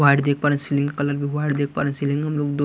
white देख पा रहे सीलिंग का कलर भी व्हाइट देख पा रहे सीलिंग में हम लोग दो --